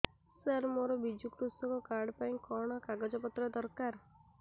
ସାର ମୋର ବିଜୁ କୃଷକ କାର୍ଡ ପାଇଁ କଣ କାଗଜ ପତ୍ର ଦରକାର